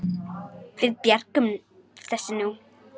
Við björgum þessu nú.